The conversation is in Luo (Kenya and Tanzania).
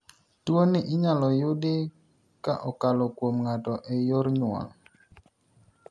Tuoni inyalo yudi ka okalo kuom ng'ato e yor nyuol.